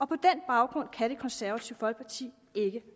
på den baggrund kan det konservative folkeparti ikke